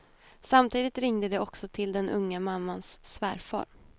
Samtidigt ringde de också till den unga mammans svärfar.